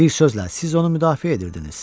Bir sözlə, siz onu müdafiə edirdiniz.